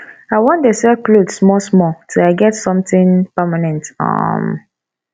i wan dey sell cloth small small till i get something permanent um